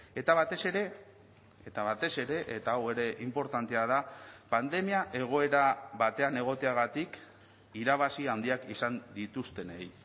eta batez ere eta batez ere eta hau ere inportantea da pandemia egoera batean egoteagatik irabazi handiak izan dituztenei